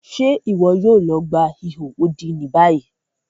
Ṣe iwọ yoo lọ gba iho odi ni bayi?